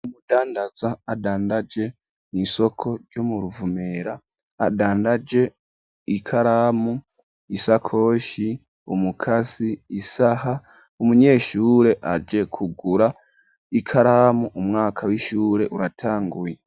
Umudandaza adandaje mw'isoko ryo mu Ruvumera ,adandaje ikaramu, isakoshi, umukasi, isaha ,umunyeshure aje kugura ikaramu umwaka w'ishure uratanguye.